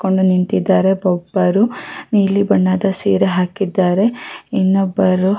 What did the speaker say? ಕೊಂಡು ನಿಂತಿದ್ದಾರೆ ಒಬ್ಬರು ನೀಲಿ ಬಣ್ಣದ ಸೀರೆ ಹಾಕಿದ್ದಾರೆ ಇನ್ನೊಬ್ಬರು --